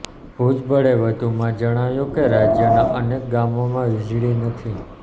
ભુજબળે વધુમાં જણાવ્યું કે રાજ્યના અનેક ગામોમાં વીજળી નથી